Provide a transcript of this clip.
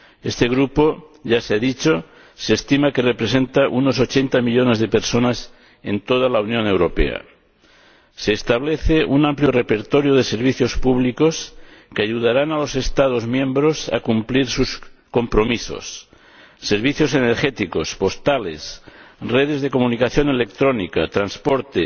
Este grupo ―ya se ha dicho― se estima que representa a unos 80 millones de personas en toda la Unión Europea. Se establece un amplio repertorio de servicios públicos, que ayudarán a los Estados miembros a cumplir sus compromisos servicios energéticos, postales, redes de comunicación electrónica, servicios de transporte,